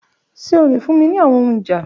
Ṣe o le fun mi ni awọn ohun ija?